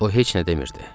O heç nə demirdi.